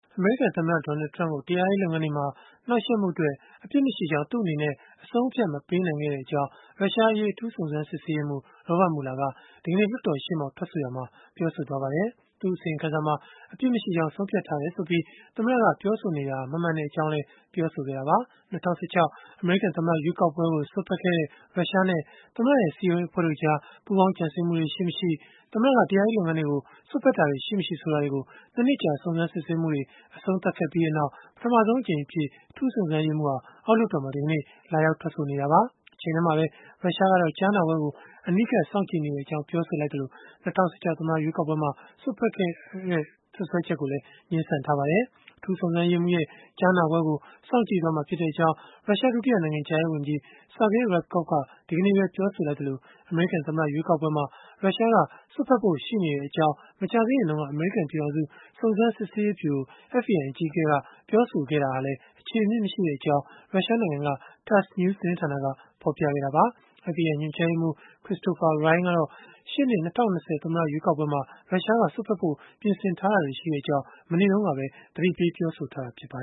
အမေရိကန် သမ္မတ Donald Trump ကို တရားရေးလုပ်ငန်းတွေမှာ နှောက်ယှက်မှုအတွက် အပြစ်မရှိကြောင်း သူ့အနေနဲ့ မဆုံးဖြတ်နိုင်ခဲ့ကြောင်း ရုရှားအရေး အထူးစုံစမ်းရေးမှူး Robert Mueller က ဒီကနေ့ လွှတ်တော်ရှေ့မှောက် ထွက်ဆိုရာမှာ ပြောဆိုလိုက်ပါတယ်။ သူ့အစီရင်ခံစာမှာ အပြစ်မရှိကြောင်း ဆုံးဖြတ်ထားတယ်ဆိုပြီး သမ္မတက ပြောဆိုနေတာဟာ မမှန်ကြောင်းလည်း ပြောဆိုခဲ့တာပါ။ ၂၀၁၆ အမေရိကန် သမ္မတ ရွေးကောက်ပွဲကို စွက်ဖက်ခဲ့တဲ့ ရုရှားနဲ့ သမ္မတရဲ့ စည်းရုံးရေး အဖွဲ့တို့ကြား ပူးပေါင်းကြံစည်မှုတွေ ရှိမရှိ သမ္မတက တရားရေးလုပ်ငန်းတွေကို စွက်ဖက်တာတွေ ရှိမရှိ ဆိုတာတွေကို နှစ် နှစ်ကြာ စုံစမ်းစစ်ဆေးမှုတွေ အဆုံးသတ်ခဲ့ပြီးနောက် ပထမဆုံးအကြိမ်အဖြစ် အထူးစုံစမ်းရေးမှူးဟာ အောက်လွှတ်တော်မှာ ဒီကနေ့ လာရောက် ထွက်ဆိုနေတာပါ။ တချိန်တည်းမှာပဲ ရုရှားကတော့ ကြားနာပွဲကို အနီးကပ်စောင့်ကြည့်နေကြောင်း ပြောဆိုခဲ့သလို ၂၀၁၆ သမ္မတရွေးကောက်ပွဲမှာ စွက်ဖက်ခဲ့ကြောင်း စွပ်စွဲချက်ကိုလည်း ငြင်းဆန်ခဲ့ပါတယ်။ အထူးစုံစမ်းရေးမှူးရဲ့ ကြားနာပွဲကို စောင့်ကြည့်သွားမှာဖြစ်ကြောင်း ရုရှား ဒုတိယနိုင်ငံခြားရေးဝန်ကြီး Sergei Ryabkov က ဒီကနေ့ပဲ ပြောဆိုလိုက်သလို၊ အမေရိကန်သမ္မတ ရွေးကောက်ပွဲမှာ ရုရှားက စွက်ဖက်ဖို့ ရှိနေ့ကြောင်း မကြာသေးခင်တုန်းက အမေရိကန်ပြည်ထောင်စု စုံစမ်းစစ်ဆေးရေးဗျုရို (FBI) အကြီးအကဲက ပြောဆိုခဲ့တာဟာလည်း အခြေအမြစ်မရှိကြောင်း ရုရှားနိုင်ငံက TASS News သတင်းဌာနက ဖော်ပြခဲ့တာပါ။ FBI ညွှန်ကြားရေးမှူး Christopher Wray ကတော့ ရှေ့နှစ် ၂၀၂၀ သမ္မတ ရွေးကောက်ပွဲမှာ ရုရှားက စွက်ဖက်ဖို့ ပြင်ဆင်ထားကြောင်း မနေ့တုန်းကပဲ သတိပေး ပြောဆိုထားတာ ဖြစ်ပါ